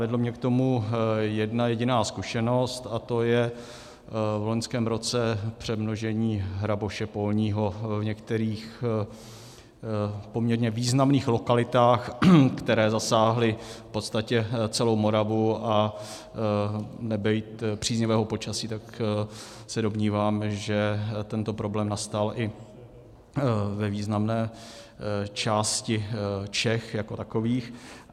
Vedla mě k tomu jedna jediná zkušenost, a to je v loňském roce přemnožení hraboše polního v některých poměrně významných lokalitách, které zasáhlo v podstatě celou Moravu, a nebýt příznivého počasí, tak se domnívám, že tento problém nastal i ve významné části Čech jako takových.